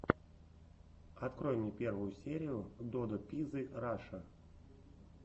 открой мне первую серию додо пиззы раша